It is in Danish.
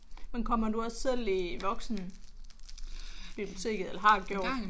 Men kommer du også selv i voksenbiblioteket eller har gjort?